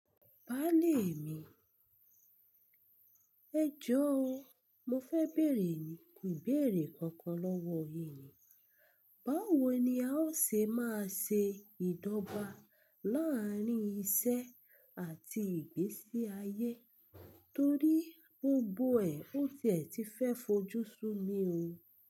Báálè mi, ẹjọ́ o. Mo fẹ́ bèrè ni, ìbéèrè kankan lọ́wọ́ yin ni. Báwo ni a o ṣe máa ṣe ìdọ́gba láàárín iṣẹ́ àti ìgbésí ayé torí gbogbo ẹ̀ n ó tẹ̀ tí fẹ́ fojú súnmi o?